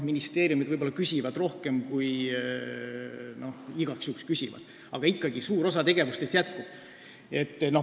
Ministeeriumid võib-olla küsivad igaks juhuks rohkem, aga ikkagi suur osa tegevustest jätkub.